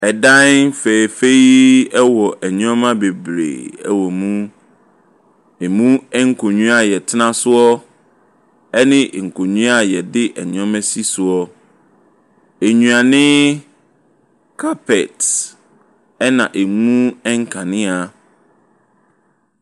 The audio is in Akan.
Dan fɛɛfɛɛ yi wɔ nneɛma bebree wɔ mu. Emu nkonnwa a wɔtena so ne nkonnwa a wɔde nneɛma si soɔ. Nnuane, carpet na emu nkanea.